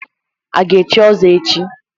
A ga-echi ọzọ echi?